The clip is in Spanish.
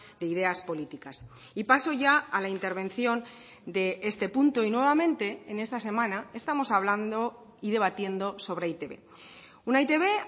de ideas políticas y paso ya a la intervención de este punto y nuevamente en esta semana estamos hablando y debatiendo sobre e i te be una e i te be